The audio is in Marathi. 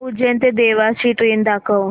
उज्जैन ते देवास ची ट्रेन दाखव